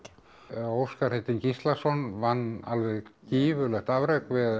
já Óskar heitinn Gíslason vann alveg gífurlegt afrek við